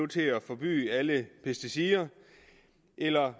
til at forbyde alle pesticider eller